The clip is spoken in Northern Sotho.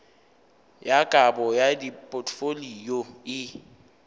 ya kabo ya dipotfolio e